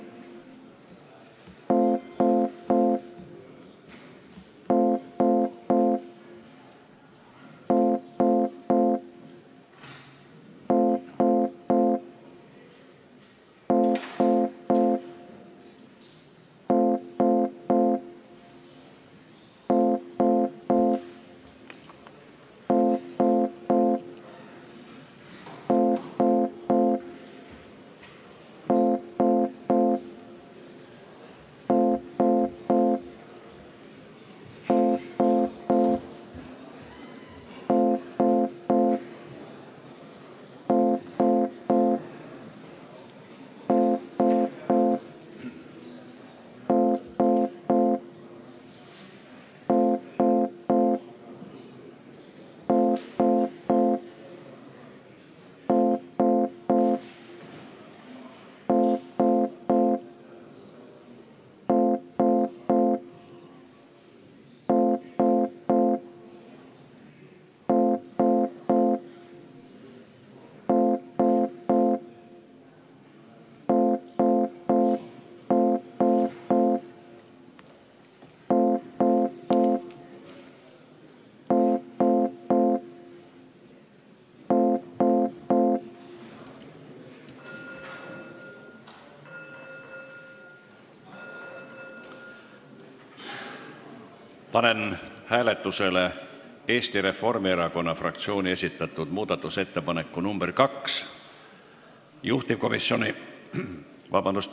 Panen hääletusele Eesti Reformierakonna fraktsiooni esitatud muudatusettepaneku nr 2.